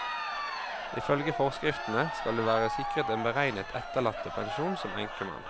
Ifølge forskriftene skal du være sikret en beregnet etterlattepensjon som enkemann.